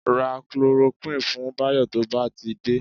Ra Chloroquine fún Báyọ̀ tó bá ti dé